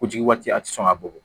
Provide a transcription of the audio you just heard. Kojugu waati a ti sɔn ka bɔgɔ bɔ